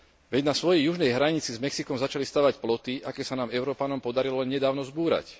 Veď na svojej južnej hranici s Mexikom začali stavať ploty, aké sa nám Európanom podarilo len nedávno zbúrať.